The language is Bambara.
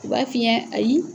U b'a f'i ɲɛna ayi